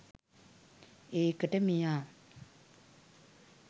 ඒකට මෙයා